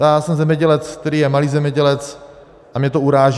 Já jsem zemědělec, který je malý zemědělec, a mě to uráží.